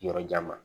Yɔrɔjan ma